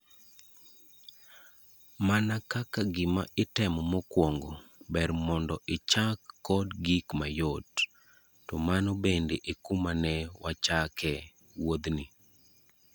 Mana kaka gima itemo mokwongo, ber mon do ichak kod gik mayot! To mano bende ekuma ne wachakee wuodhni.